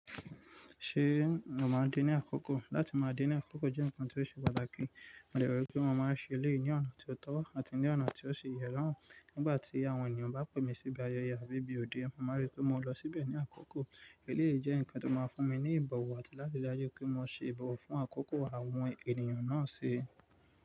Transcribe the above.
Ṣé mo máa dé ní àkókò? Láti máa dé ní àkókò jẹ́ nǹkan tó ṣe pàtàkì mo dẹ̀ rò wípé mo máa ṣe eléyìí ní ọ̀nà tí ó tọ́ àti ní ọ̀nà tí ó ṣe yẹ láwọn. Nígbà tí àwọn ènìyàn bá pè mí síbi ayẹyẹ àbí bí òde, mo máa rí pé mo lọ síbẹ̀ ní àkókò. Eléyìí jẹ́ nǹkan tó máa fún mi ní ìbọ̀wọ̀ àti láti ráyè pé mo ṣe ìbọ̀wọ̀ fún àkókò àwọn ènìyàn náà se.